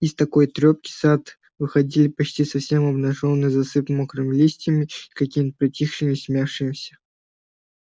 из такой трёпки сад выходил почти совсем обнажённым засыпанным мокрыми листьями и каким-то притихшим смирившимся